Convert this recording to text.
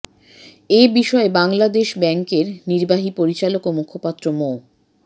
এ বিষয়ে বাংলাদেশ ব্যাংকের নির্বাহী পরিচালক ও মুখপাত্র মো